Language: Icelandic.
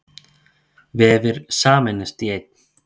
Vefir sameinast í einn